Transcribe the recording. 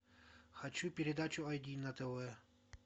хочу передачу айди на тв